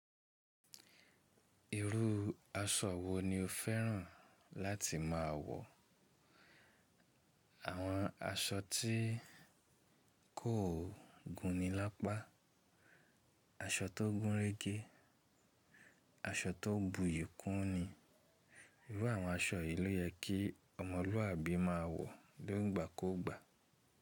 Irú aṣọ wo ni o fẹ́ràn láti máa wọ̀? Àwọn aṣọ tí kò gún ni lápá. Aṣọ tó gún régé, aṣọ tó bu iyi kún ni. Irú àwọn aṣọ yìí ló yẹ kí ọmọlúwàbí máa wọ̀ ni igbà ku gbà.